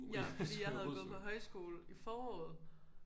Ja fordi jeg havde været på højskole i foråret